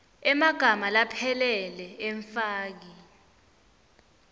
emagama laphelele emfaki